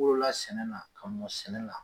Woola sɛnɛ na ka mɔ sɛnɛ la